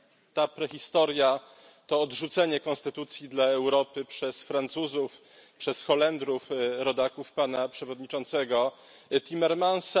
Ta prehistoria to odrzucenie Konstytucji dla Europy przez Francuzów, przez Holendrów rodaków pana przewodniczącego Timmermansa.